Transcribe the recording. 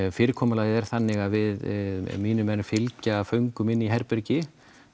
fyrirkomulagið er þannig að mínir menn fylgja föngum inn í herbergi